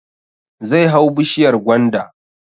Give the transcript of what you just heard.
Zai hau bishiyar gwanda